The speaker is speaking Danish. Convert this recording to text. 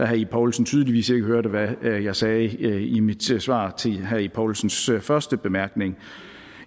herre ib poulsen tydeligvis ikke hørt hvad jeg sagde i mit svar til herre ib poulsens første bemærkning